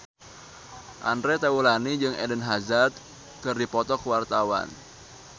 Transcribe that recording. Andre Taulany jeung Eden Hazard keur dipoto ku wartawan